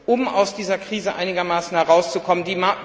um aus dieser Krise einigermaßen herauszukommen.